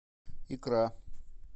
икра